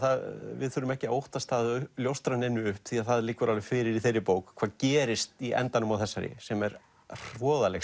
við þurfum ekki að óttast að ljóstra neinu upp því það liggur alveg fyrir í þeirri bók hvað gerist í endanum á þessari sem er hroðaleg